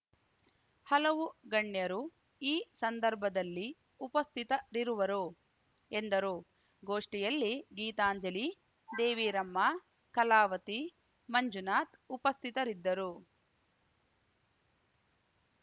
ಹಲವು ಗಣ್ಯರು ಈ ಸಂದರ್ಭದಲ್ಲಿ ಉಪಸ್ಥಿತರಿರುವರು ಎಂದರು ಗೋಷ್ಠಿಯಲ್ಲಿ ಗೀತಾಂಜಲಿ ದೇವಿರಮ್ಮ ಕಲಾವತಿ ಮಂಜುನಾಥ್‌ ಉಪಸ್ಥಿತರಿದ್ದರು